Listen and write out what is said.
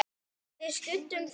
Við studdum þá!